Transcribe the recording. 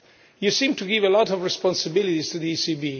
You seem to give a lot of responsibilities to the ECB